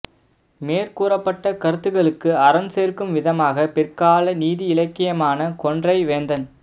மேற்கூறபட்ட கருத்துக்களுக்கு அரண் சேர்க்கும் விதமாக பிற்கால நீதி இலக்கியமான கொன்றை வேந்தன்